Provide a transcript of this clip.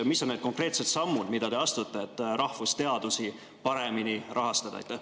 Mis on need konkreetsed sammud, mida te astute, et rahvusteadusi paremini rahastada?